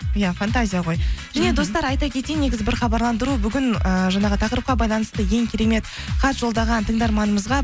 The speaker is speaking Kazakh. иә фантазия ғой және достар айта кетейін негізі бір хабарландыру бүгін ыыы жаңағы тақырыпқа байланысты ең керемет хат жолдаған тыңдарманымызға